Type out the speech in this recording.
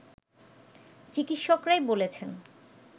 চিকিৎসকরাই বলেছেন